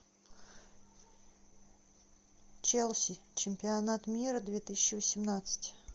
челси чемпионат мира две тысячи восемнадцать